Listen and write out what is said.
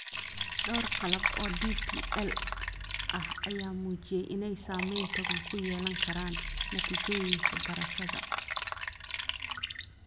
Dhowr qalab oo DPL ah ayaa muujiyay inay saameyn togan ku yeelan karaan natiijooyinka barashada.